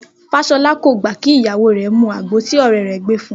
Fáṣọlá kò gbà kí ìyàwó rẹ̀ mu àgbo tí ọ̀rẹ́ rẹ̀ gbé fun